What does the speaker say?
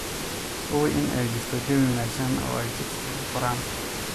Hubi in ay jirto jawi wanaagsan oo ay chicks ku koraan.